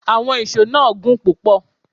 Àwọn íṣo náà gùn púpò